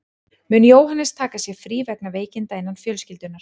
Mun Jóhannes taka sér frí vegna veikinda innan fjölskyldunnar.